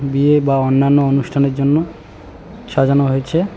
বিয়ে বা অন্যান্য অনুষ্ঠানের জন্য সাজানো হয়েছে।